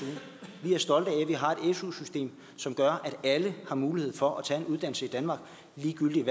su system som gør at alle har mulighed for at tage en uddannelse i danmark ligegyldigt